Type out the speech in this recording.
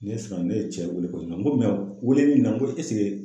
Ne siran ne ye cɛ wele ko n ko wele in na n ko esike